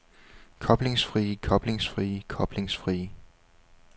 koblingsfrie koblingsfrie koblingsfrie